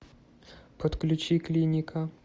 подключи клиника